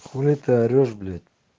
хули ты орешь блять